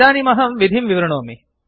इदानीम् अहं विधिं विवृणोमि